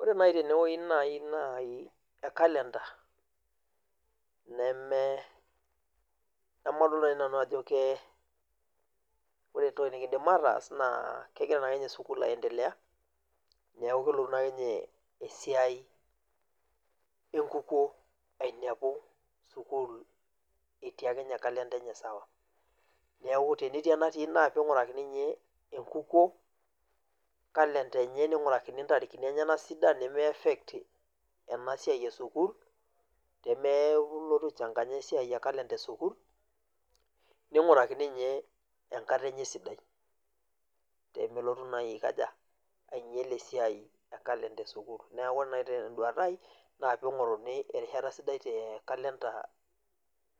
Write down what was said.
Ore nai tenewei nai kalenda neme nemadol nai nanu ajo ke, ore entoki niin'dim ataas naa kegira naake ninye sukuul aendelea niaku kelotu naake ninye esiai enkukuo ainepu sukuul etii akeninye kalenda enye sawaa. Niaku tenetii enatii naa piingurakini ninye enkukuo kalenda enye ningurakini ntarikini enye sidan nemeaffect ena siai esukuul teneeku ilotu aichanganya esiai e kalenda esukuul ningurakini ninye enkata enye sidai peemelotu naa ainyal esiai e kalenda esukuul niaku ore nai ten'duata ai naa piing'oruni erishata sidai te kalenda